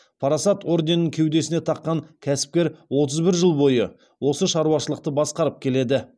парасат орденін кеудесіне таққан кәсіпкер отыз бір жыл бойы осы шаруашылықты басқарып келеді